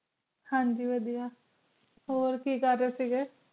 ਹਨ ਜੀ ਵਾਦੇਯ ਹੋਰ ਕੀ ਕਰ ਰਹੀ ਸੇ